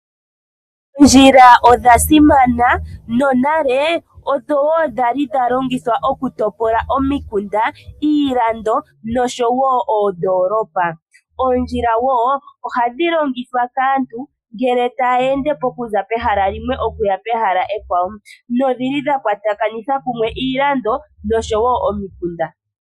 Oondjila odha simana no nale odho dhai dha longithwa okutopola omikunda, iilondo noodolopa. Oondjila ohadhi longithwa kaantu ngele taya ende okuza pehala limwe okuya pehala ekwawo nodhili dha kwatakanitha kumwe iilando nomikunda.